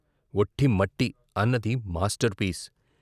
ఒఠి మట్టి అన్నది, master piece.